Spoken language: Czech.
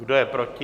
Kdo je proti?